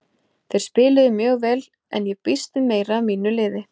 Þeir spiluðu mjög vel en ég býst við meiru af mínu liði.